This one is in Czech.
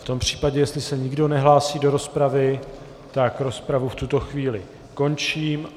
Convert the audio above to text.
V tom případě jestli se nikdo nehlásí do rozpravy, tak rozpravu v tuto chvíli končím.